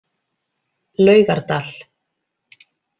Laugardal